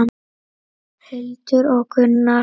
Hildur og Gunnar.